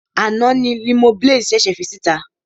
Àná ni Limoblaze ṣèṣè fi síta.